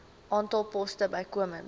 aantal poste bykomend